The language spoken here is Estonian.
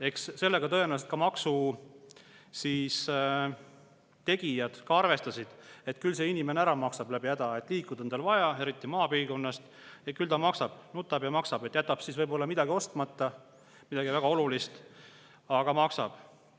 Eks sellega tõenäoliselt ka maksu tegijad arvestasid, et küll inimene ära maksab läbi häda, liikuda tal on vaja, eriti maapiirkonnas, küll ta maksab, nutab ja maksab, jätab siis võib-olla midagi ostmata, midagi väga olulist, aga maksab.